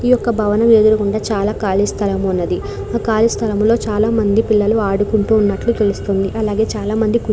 ఈ యొక్క భవనం ఎదురుగుండా చాలా ఖాళీ స్థలం ఉన్నది ఆ ఖాళీ స్థలంలో చాలా మంది పిల్లలు ఆడుకుంటు ఉన్నట్లు తెలుస్తుంది అలాగే చాల మంది కు --